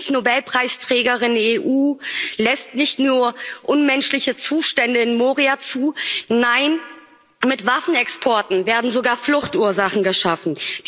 Die Friedensnobelpreisträgerin EU lässt nicht nur unmenschliche Zustände in Moria zu, nein, mit Waffenexporten werden sogar Fluchtursachen geschaffen.